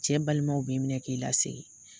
Cɛ balimaw b'i minɛ k'i lasegin.